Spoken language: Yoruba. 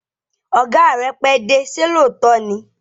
Ọ̀gá rẹ pẹ́dé, ṣé lóòótọ́ ni?